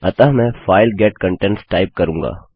अतः मैंfile get contents type करूँगा